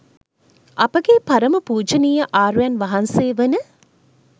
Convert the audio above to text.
අපගේ පරම පූජනීය ආර්යයන් වහන්සේ වන